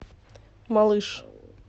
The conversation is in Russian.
малыш